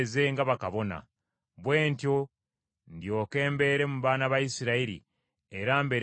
Bwe ntyo ndyoke mbeere mu baana ba Isirayiri era mbeere Katonda waabwe.